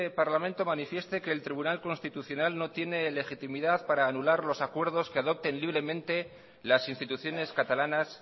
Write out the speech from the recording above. parlamento manifieste que el tribunal constitucional no tiene legitimidad para anular los acuerdos que adopte libremente las instituciones catalanas